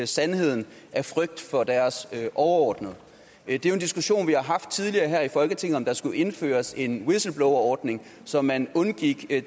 sandheden af frygt for deres overordnede det er en diskussion vi har haft tidligere i folketinget nemlig om der skulle indføres en whistleblowerordning så man undgik